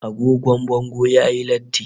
Agogo bango yayi latti